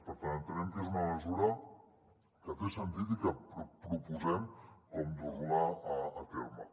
per tant entenem que és una mesura que té sentit i que proposem com dur la a terme